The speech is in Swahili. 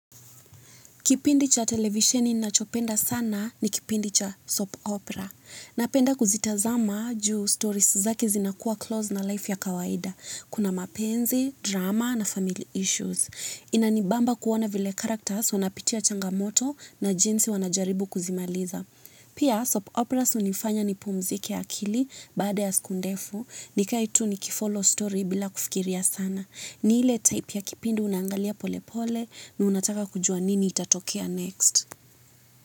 Kipindi cha televisheni nachopenda sana ni kipindi cha soap opera. Napenda kuzitazama juu stories zake zinakuwa close na life ya kawaida. Kuna mapenzi, drama na family issues. Inanibamba kuona vile characters wanapitia changamoto na jinsi wanajaribu kuzimaliza. Pia soap operas hunifanya nipumzike akili baada ya siku ndefu nikae tu nikifollow story bila kufikiria sana. Ni ile type ya kipindi unaangalia pole pole na unataka kujua nini itatokea next.